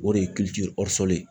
O de ye